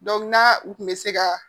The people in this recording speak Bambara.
na u kun bɛ se ka